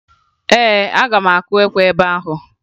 Ee, aga m akụ ekwe ebe ahụ